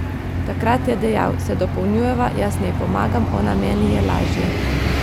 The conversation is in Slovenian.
Takrat je dejal: "Se dopolnjujeva, jaz njej pomagam, ona meni, je lažje.